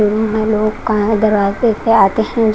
दिन में लोग का है दरवाजे पे आते हैं।